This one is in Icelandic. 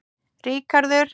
Ríkharður